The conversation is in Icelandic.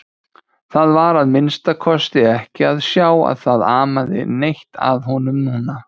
Það var að minnsta kosti ekki að sjá að það amaði neitt að honum núna.